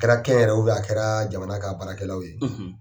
A kɛra kɛn yɛrɛ ye ou bien a kɛra jamana ka baarakɛlaw ye